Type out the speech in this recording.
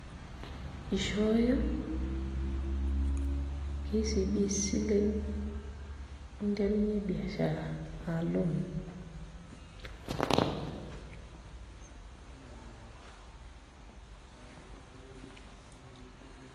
Ishooyo KCB isilen ninterunyie biashara aa loan.